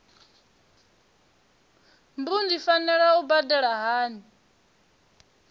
mbu ndi fanela u badela hani